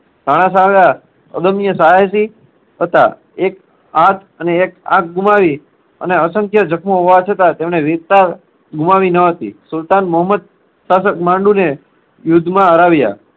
રાણા સાંઘા અગમ્ય સાહસી હતા. એક હાથ અને એક આંખ ગુમાવી અને અસંખ્ય જખમો હોવા છતાં તેમણે વીરતા ગુમાવી ન હતી. સુલતાન મહોમ્મદ શાસક માંડુને યુદ્ધમાં હરાવ્યા.